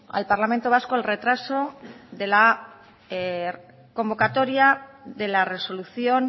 al parlamento vasco el retraso de la convocatoria de la resolución